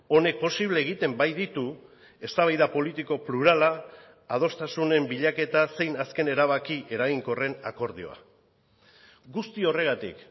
honek posible egiten baititu eztabaida politiko plurala adostasunen bilaketa zein azken erabaki eraginkorren akordioa guzti horregatik